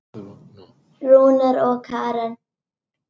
Rúnar og Karen.